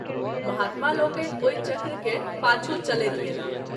महात्मा लोकनि ओहि चक्र के पाछू चलैत गेलाह।